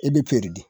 E bɛ di